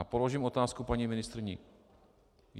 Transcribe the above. A položím otázku paní ministryni.